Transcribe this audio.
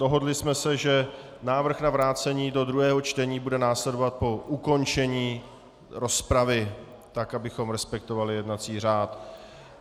Dohodli jsme se, že návrh na vrácení do druhého čtení bude následovat po ukončení rozpravy, tak abychom respektovali jednací řád.